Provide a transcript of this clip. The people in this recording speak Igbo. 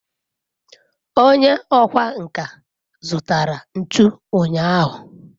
onye okwá nkà zutara ntu unyahu